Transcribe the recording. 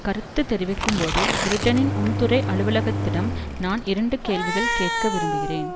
கருத்து தெரிவிக்கும்போது பிரிட்டனின் உள்துறை அலுவலகத்திடம் நான் இரண்டு கேள்விகள் கேட்க விரும்புகிறேன்